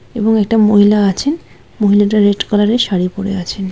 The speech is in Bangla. এবং একটা মহিলা আছেন মহিলাটা রেড কালার